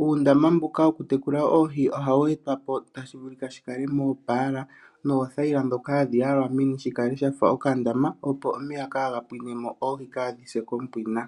Uundama mbuka woku tekula oohi oha wu etwa po tashivulika shi kale moopala noothayila dhoka hadhi yalwa meni shikale shafa okandama, opo omeya kaagapwine, oohi kadhi se kompwina.